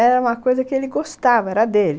Era uma coisa que ele gostava, era dele.